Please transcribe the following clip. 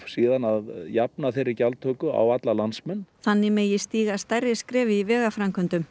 síðan að jafna þeirri gjaldtöku á landsmenn þannig megi stíga stærri skref í vegaframkvæmdum